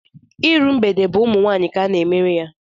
Iru mgbede bụ ụmụ nwaanyị ka ana-emere ya.